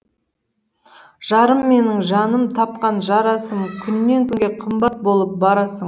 жарым менің жаным тапқан жарасым күннен күнге қымбат болып барасың